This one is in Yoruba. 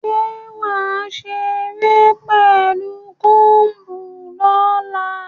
Ṣé wà á ṣeré pẹ̀lú comb lọ́la?